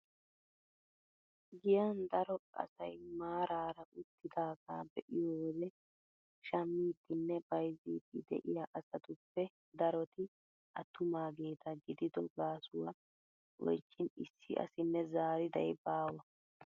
Giyan daro asay maarara uttidagaa be'iyoo wode shammiidinne bayzziidi de'iyaa asatuppe daroti attumaageta gidido gaasuwaa oychin issi asinne zaariday baawa.